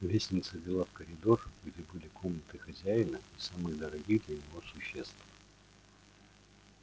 лестница вела в коридор где были комнаты хозяина и самых дорогих для него существ